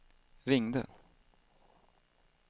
ringde